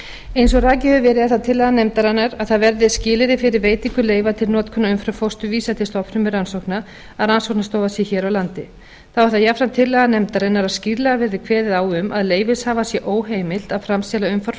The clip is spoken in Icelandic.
eins og rakið hefur verið er það tillaga nefndarinnar að það verði skilyrði fyrir veitingu leyfa til notkunar umframfósturvísa til stofnfrumurannsókna að rannsóknastofa sé hér á landi þá er það jafnframt tillaga nefndarinnar að skýrlega verði kveðið á um að leyfishafa sé óheimilt að framselja umframfósturvísa sem